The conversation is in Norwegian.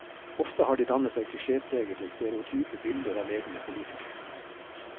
Ofte har de dannet seg klisjépregede, stereotype bilder av ledende politikere.